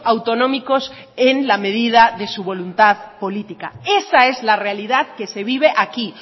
autonómicos en la medida de su voluntad política esa es la realidad que se vive aquí